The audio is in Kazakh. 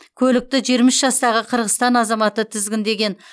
көлікті жиырма үш жастағы қырғызстан азаматы тізгіндеген